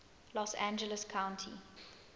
los angeles county